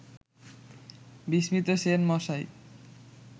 বিস্মিত সেন মশাই